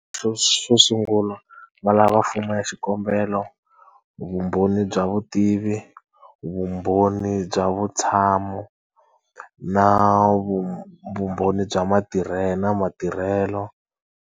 xo sungula va lava fomo ya xikombelo, vumbhoni bya vutivi, vumbhoni bya vutshamo, na vumbhoni bya na matirhelo.